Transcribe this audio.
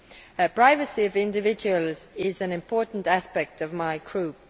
The privacy of individuals is an important aspect for my Group.